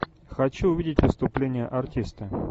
хочу увидеть выступление артиста